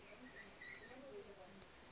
gore o be a rata